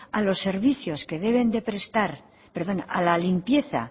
a la limpieza